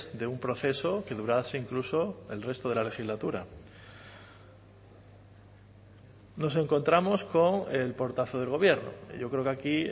de un proceso que durase incluso el resto de la legislatura nos encontramos con el portazo del gobierno yo creo que aquí